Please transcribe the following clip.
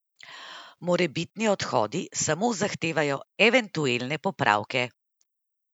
Morebitni odhodi samo zahtevajo eventuelne popravke.